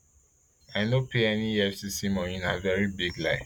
i no pay any efcc money na veri big lie